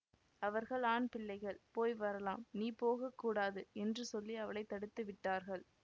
அவர்கள் ஆண்பிள்ளைகள் போய் வரலாம் நீ போக கூடாது என்று சொல்லி அவளை தடுத்து விட்டார்கள்